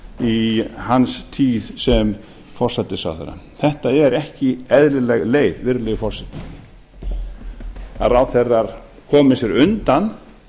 í hans tíð sem forsætisráðherra þetta er ekki eðlileg leið virðulegi forseti að ráðherrar komi sér undan